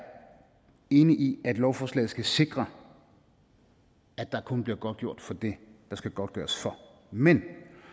enig i at lovforslaget skal sikre at der kun bliver godtgjort for det der skal godtgøres for men